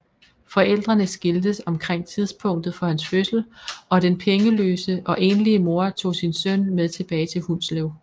Forældrene skiltes omkring tidspunktet for hans fødsel og den pengeløse og enlige mor tog sin søn med tilbage til Hundslev